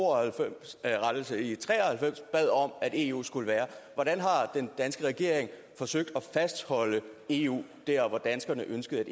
og halvfems bad om at eu skulle være hvordan har den danske regering forsøgt at fastholde eu der hvor danskerne ønskede